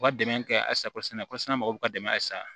U ka dɛmɛ kɛ halisakosɛnɛ kosɔn mɔgɔw ka dɛmɛ a sa